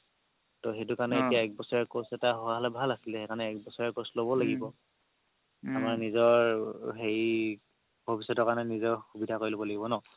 ত সেইটো কাৰণে এতিয়া এবছৰীয়া course এটা হোৱা হ'লে ভাল আছিলে সেইকাৰণে এবছৰীয়া course টো ল'ব লাগিব আমাৰ নিজৰ হেৰি ভৱিষ্যতৰ কাৰণে নিজৰ সুবিধা কৰি ল'ব লাগিব ন